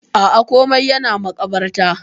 Aa, komai yana makabarta.